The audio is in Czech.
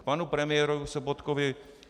K panu premiérovi Sobotkovi.